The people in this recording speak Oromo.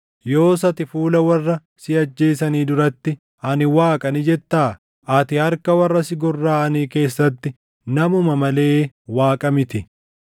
Yoos ati fuula warra si ajjeesanii duratti, “Ani waaqa” ni jettaa? Ati harka warra si gorraʼanii keessatti namuma malee waaqa miti.